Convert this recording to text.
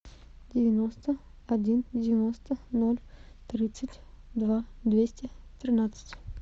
девяносто один девяносто ноль тридцать два двести тринадцать